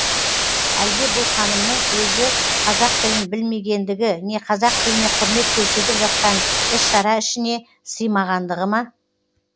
әлде бұл ханымның өзі қазақ тілін білмегендігі не қазақ тіліне құрмет көрсетіп жатқан іс шара ішіне сыймағандығы ма